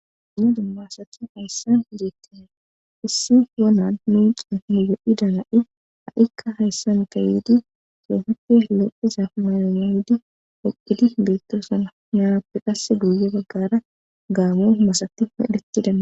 Dumna dumma asati hayssan geettine issi yonan miicin hiyo7i dana7i a7ikka hayssan kaydi soohutelo iza mayona hodi ophidi beettoosana naappe qasse guye baggara gaamo masatti medhetida